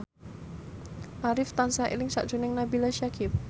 Arif tansah eling sakjroning Nabila Syakieb